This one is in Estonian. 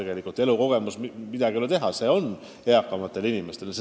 Ja elukogemus on, midagi ei ole teha, just vanematel inimestel.